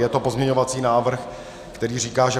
Je to pozměňovací návrh, který říká, že